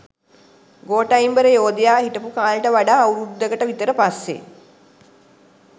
ගෝඨයිම්බර යෝධයා හිටපු කාලෙට වඩා අවුරුදුකට විතර පස්සේ.